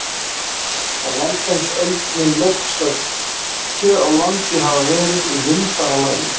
Á landnámsöld mun loftslag hér á landi hafa verið í mildara lagi.